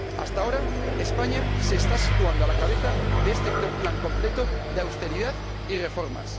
Hasta ahora España se está situando a la cabeza de este plan completo de austeridad y reformas.